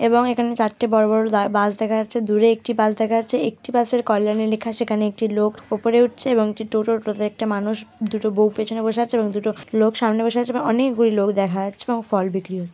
এবং এখানে চারটে বড়বড় দা বাস দেখা যাচ্ছে দুরে একটি বাস দেখা যাচ্ছে একটি বাস -এর কল্যাণে লেখা সেখানে একটি লোক ওপরে উঠছে এবং টোটো টোটোতে একটা মানুষ দুটো বউ পেছনে বসে আছে এবং দুটো লোক সামনে বসে আছে এবং অনেকগুলি লোক দেখা যাচ্ছে এবং ফল বিক্রি হ --